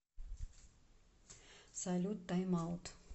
салют тайм аут